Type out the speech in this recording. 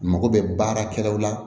Mago bɛ baarakɛlaw la